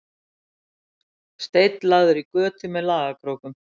Steinn lagður í götu með lagakrókum